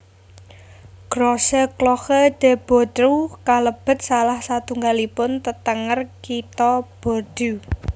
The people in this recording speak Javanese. Grosse Cloche de Bordeaux kalebet salah satunggalipun tetenger Kitha Bordeaux